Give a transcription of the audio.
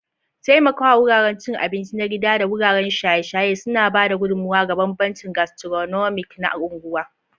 Taimaka wuraren cin abinci na gida da wuraren shaye-shaye suna ba da gudummawa ga bambancin gastronomic na unguwa.